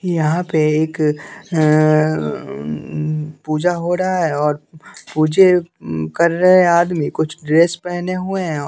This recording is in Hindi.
यहाँ पे एक पूजा हो रहा है और पूजे कर रहे आदमी कुछ ड्रेस पहने हुए हैं औ --